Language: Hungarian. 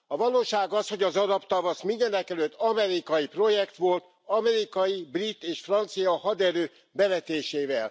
A valóság az, hogy az arab tavasz, mindenekelőtt amerikai projekt volt, amerikai, brit és francia haderő bevetésével.